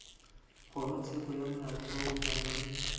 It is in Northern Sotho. kgorotsheko ya molaotheo o swanetše